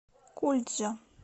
кульджа